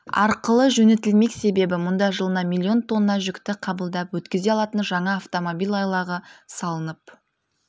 арқылы жөнелтілмек себебі мұнда жылына млн тонна жүкті қабылдап өткізе алатын жаңа автомобиль айлағы салынып